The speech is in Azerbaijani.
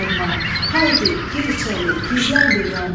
Haydi, gir içəri, gizlən bir yanda.